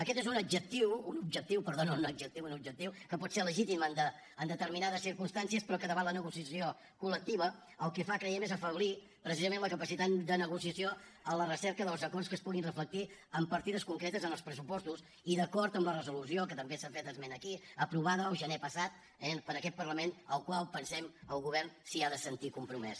aquest és un objectiu que pot ser legítim en determinades circumstàncies però que davant la negociació col·lectiva el que fa creiem és afeblir precisament la capacitat de negociació a la recerca dels acords que es puguin reflectir en partides concretes en els pressupostos i d’acord amb la resolució que també se n’ha fet esment aquí aprovada el gener passat eh per aquest parlament amb el qual pensem el govern s’ha de sentir compromès